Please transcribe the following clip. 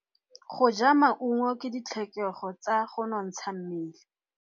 Go ja maungo ke ditlhokegô tsa go nontsha mmele.